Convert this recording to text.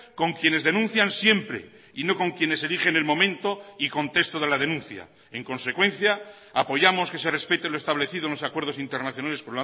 con quienes denuncian siempre y no con quienes eligen el momento y contexto de la denuncia en consecuencia apoyamos que se respete lo establecido en los acuerdos internacionales